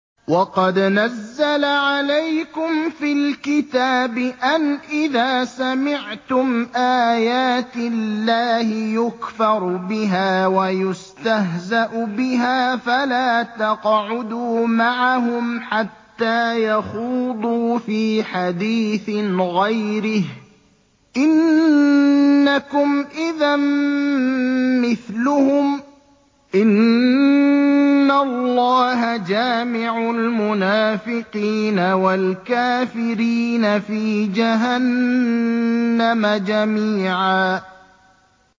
وَقَدْ نَزَّلَ عَلَيْكُمْ فِي الْكِتَابِ أَنْ إِذَا سَمِعْتُمْ آيَاتِ اللَّهِ يُكْفَرُ بِهَا وَيُسْتَهْزَأُ بِهَا فَلَا تَقْعُدُوا مَعَهُمْ حَتَّىٰ يَخُوضُوا فِي حَدِيثٍ غَيْرِهِ ۚ إِنَّكُمْ إِذًا مِّثْلُهُمْ ۗ إِنَّ اللَّهَ جَامِعُ الْمُنَافِقِينَ وَالْكَافِرِينَ فِي جَهَنَّمَ جَمِيعًا